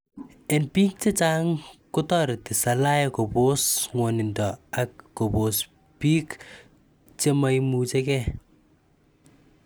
en pig chechang kotoreti salaey kopos ngwaninda ag kopos pig che maimuchegen